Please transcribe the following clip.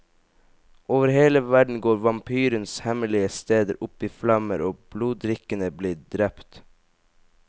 Over hele verden går vampyrens hemmelige steder opp i flammer og bloddrikkerne blir drept.